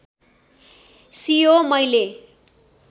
सियो मैले